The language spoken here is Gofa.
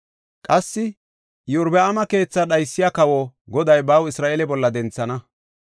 Qassi Iyorbaama keethaa dhaysiya kawo Goday baw Isra7eele bolla denthana.